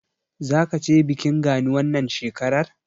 Zaka je bikin Gani wannan shekarar?